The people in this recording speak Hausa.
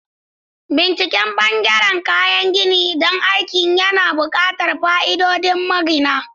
Binciken ɓangaren kayan gini don aikin yana buƙatar fa'idodin magina.